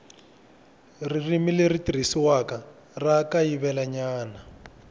ririmi leri tirhisiwaka ra kayivelanyana